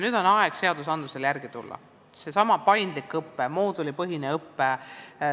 Nüüd on aeg seadustel järele tulla: seesama paindlik õpe ja moodulipõhine õpe.